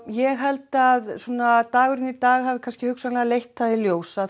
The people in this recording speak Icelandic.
ég held að svona dagurinn í dag hafi leitt í ljós að